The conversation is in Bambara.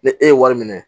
Ni e ye wari minɛ